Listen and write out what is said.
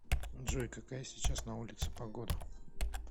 джой какая сейчас на улице погода